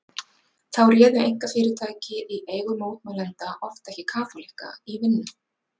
Þá réðu einkafyrirtæki í eigu mótmælenda oft ekki kaþólikka í vinnu.